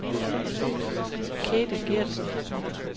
Kate Gertsen